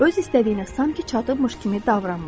O öz istədiyinə sanki çatıbmış kimi davranmır.